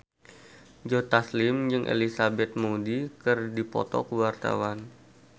Joe Taslim jeung Elizabeth Moody keur dipoto ku wartawan